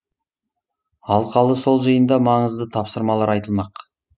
алқалы сол жиында маңызды тапсырмалар айтылмақ